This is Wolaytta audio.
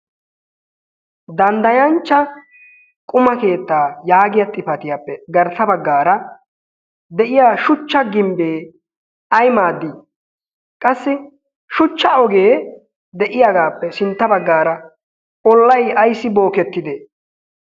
Danddayanchcha quma keettaa yaagiya xifatiyaappe garssa baggaara de'iya shuchcha gimbbee ay maaddii? Qassi shuchcha ogee de'iyaagaappe sintta baggaara ollay ayssi bookettide?